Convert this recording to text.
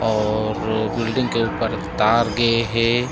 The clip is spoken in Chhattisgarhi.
और बिल्डिंग के ऊपर तार गे हे।